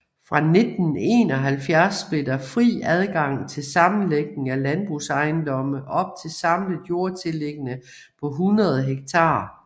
Fra 1971 blev der fri adgang til sammenlægning af landbrugsejendomme op til samlet jordtillæggende på 100 ha